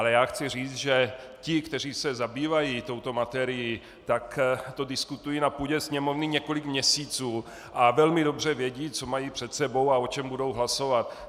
Ale já chci říct, že ti, kteří se zabývají touto materií, tak to diskutují na půdě Sněmovny několik měsíců a velmi dobře vědí, co mají před sebou a o čem budou hlasovat.